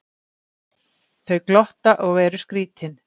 Þau glotta og eru skrítin.